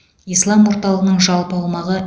ислам орталығының жалпы аумағы